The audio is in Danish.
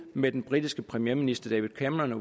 med den britiske premierminister david cameron og